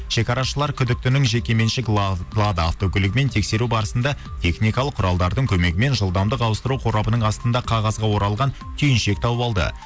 шегарашылар күдіктінің жекеменшік лада автокөлігін тексеру барысында техникалық құралдардың көмегімен жылдамдық ауыстыру қорабының астынан қағазға оралған түйіншік тауып алды